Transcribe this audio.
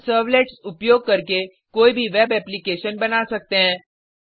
हम सर्वलेट्स उपयोग करके कोई भी वेब एप्लीकेशन बना सकते हैं